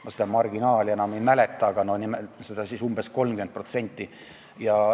Ma seda marginaali enam ei mäleta, aga see oli umbes 30%.